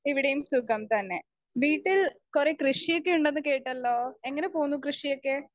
Speaker 2 ഇവിടെയും സുഖം തന്നെ.വീട്ടിൽ കൊറെ കൃഷിയൊക്കെ ഉണ്ടെന്ന് കേട്ടല്ലോ എങ്ങനെ പോകുന്നു കൃഷിയൊക്കെ?